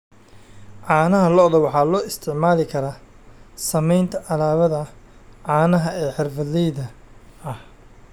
Caanaha lo'da waxaa loo isticmaali karaa samaynta alaabada caanaha ee xirfadleyda ah.